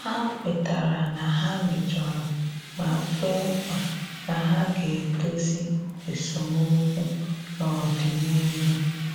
Ha kwetara na ha mejọrọ ma kwe nkwa na ha ga-edozi esemokwu n'ọdịnịhu